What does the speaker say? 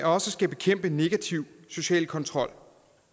også skal bekæmpe negativ social kontrol